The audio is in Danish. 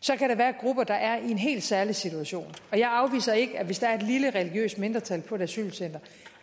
så kan der være grupper der er i en helt særlig situation og jeg afviser ikke hvis der er et lille religiøst mindretal på et asylcenter